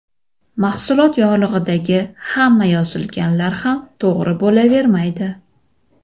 Mahsulot yorlig‘idagi hamma yozilganlar ham to‘g‘ri bo‘lavermaydi.